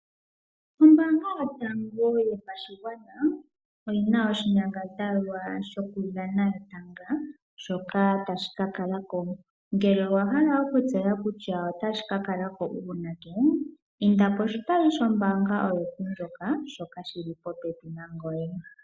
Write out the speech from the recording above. Oombaanga yotango yopashigwana oyina oshinyangadhalwa shoku dhana etanga, shoka tashi kakakako. Ngele owa hala okutseya kutya otashi kakalako uunake, inda poshitayi shombaanga oyo tuu ndjoka shoka shili popepi nangoye.